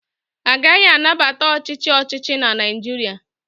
Agaghị anabata ọchịchị ọchịchị na Naịjirịa